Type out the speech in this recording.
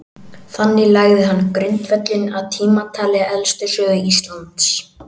Þannig lagði hann grundvöllinn að tímatali elstu sögu Íslands.